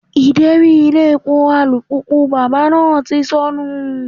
Ideri ilé epo alùpùpù bàbá náà ti sọnù.